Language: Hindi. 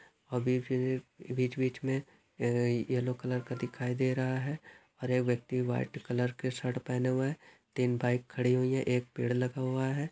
अभी भी बीच बीच मे अ यलो कलर का दिखाई दे रहा हैं और ये व्यक्ति व्हाइट कलर के सर्ट पहने हुए हैं तीन बाइक खड़ी हुई हैं एक पेड़ लगा हुआ हैं।